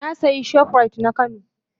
Na sayi shoprite na kano.